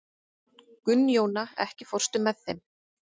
Gunnjóna, ekki fórstu með þeim?